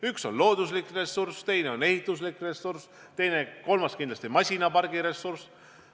Üks on looduslik ressurss, teine on ehituslik ressurss, kolmas kindlasti masinapargi ressurss.